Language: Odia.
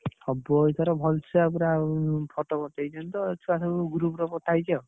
ହବ ଏଇଥର ଭଲସେ ପୁରା photo ପଠେଇଛନ୍ତି ତ ଛୁଆ ସବୁ group ରେ ପଠା ହେଇଛି ଆଉ।